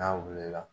N'a wulila